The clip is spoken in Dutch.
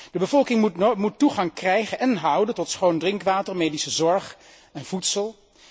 De bevolking moet toegang krijgen en houden tot schoon drinkwater, medische zorg en voedsel.